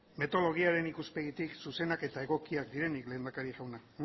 metodologiaren ikuspegitik zuzenak eta egokiak direnik lehendakari jauna